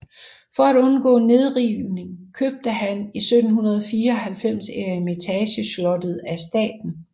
For at undgå nedrivning købte han i 1794 Eremitageslottet af staten